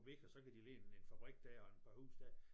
Væk og så kan de lægge en en fabrik der og en par huse der